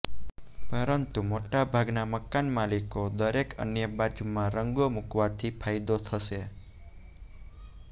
પરંતુ મોટાભાગના મકાનમાલિકો દરેક અન્ય બાજુમાં રંગો મૂકવાથી ફાયદો થશે